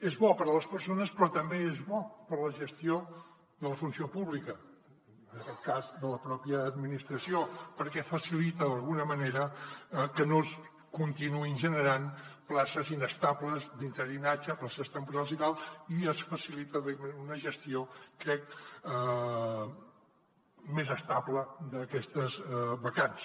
és bo per a les persones però també és bo per a la gestió de la funció pública en aquest cas de la pròpia administració perquè facilita d’alguna manera que no es continuïn generant places inestables d’interinatge places temporals i tal i es facilita una gestió crec més estable d’aquestes vacants